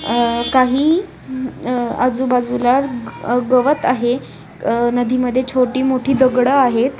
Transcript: अह काही हम अह आजूबाजूला ग गवत आहे अह नदीमध्ये छोटीमोठी दगडं आहेत.